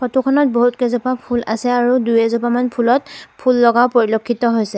Photo খনত বহুত কেইজোপা ফুল আছে আৰু দুই এজোপামান ফুলত ফুল লগাও পৰিলক্ষিত হৈছে।